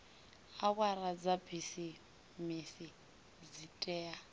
awara dza bisimisi dzi tea